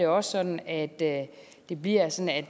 også sådan at det det bliver sådan at